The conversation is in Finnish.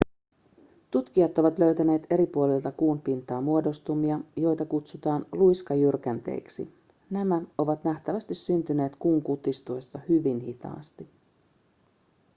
tutkijat ovat löytäneet eri puolilta kuun pintaa muodostumia joita kutsutaan luiskajyrkänteiksi nämä ovat nähtävästi syntyneet kuun kutistuessa hyvin hitaasti